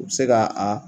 U bɛ se ka a